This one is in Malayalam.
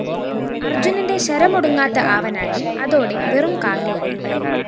അര്‍ജുനന്റെ ശരമൊടുങ്ങാത്ത ആവനാഴി അതോടെ വെറും കാലിയായി